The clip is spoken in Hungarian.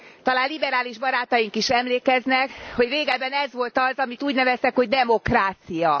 Talán liberális barátaink is emlékeznek, hogy régebben ez volt az, amit úgy neveztek, hogy demokrácia.